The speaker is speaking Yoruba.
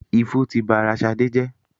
Ifo ti ba ara Ṣadé jẹ́.